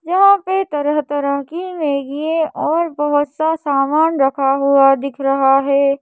जहां पे तरह तरह की मैगी ए और बहुत सा सामान रखा हुआ दिख रहा है।